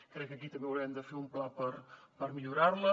crec que aquí també haurem de fer un pla per millorar les